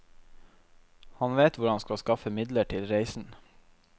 Han vet hvor han skal skaffe midler til reisen.